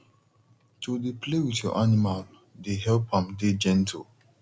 to dey play with your animal dey help am dey gentle